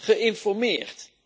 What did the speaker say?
geïnformeerd.